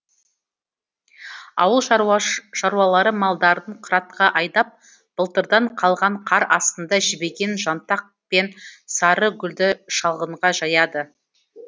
ауыл шаруалары малдарын қыратқа айдап былтырдан қалған қар астында жібіген жантақ пен сары гүлді шалғынға жаяды